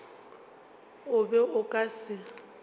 o be o ka se